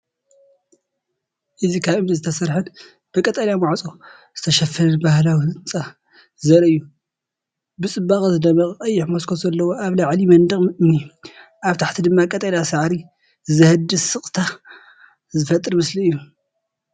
እዚ ካብ እምኒ ዝተሰርሐን ብቀጠልያ ማዕጾ ዝተሸፈነን ባህላዊ ህንጻ ዘርኢ እዩ። ብጽባቐ ዝደምቕ ቀይሕ መስኮት ዘለዎ። ኣብ ላዕሊ መንደቕ እምኒ፡ ኣብ ታሕቲ ድማ ቀጠልያ ሳዕሪ ዘህድእ ስቕታ ዝፈጥር ምስሊ እዩ።